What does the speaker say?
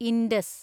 Indus